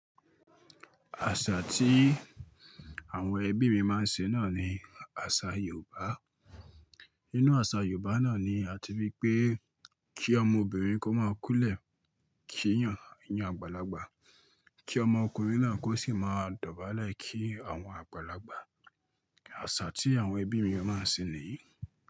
Àṣà tí àwọn ẹbí mi máa ń ṣe náà ni àṣà Yorùbá. Inú àṣà Yorùbá náà ni a ti ríi pé kí ọmọbìnrin kó máa kún lẹ̀ kí eeyàn eeyan àgbàlagbà, kí ọmọkùnrin náà kó sì máa dọ̀bálẹ̀ kí àwọn àgbàlagbà. Àṣà tí àwọn ẹbí mi máa ń ṣe nìyí.